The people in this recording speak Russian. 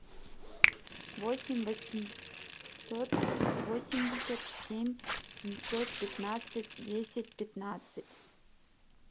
восемь восемьсот восемьдесят семь семьсот пятнадцать десять пятнадцать